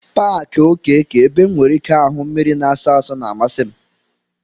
Paaki okeke ebe M nwere ike ahụ mmiri na-asọ asọ na-amasị m.